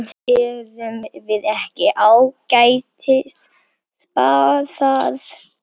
Erum við ekki ágætis spaðar?